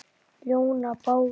ljóna bága